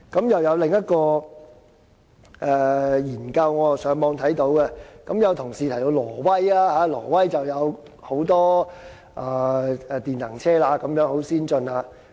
我在網上看到另一項研究，有同事提到挪威，當地有很多電能車，十分先進。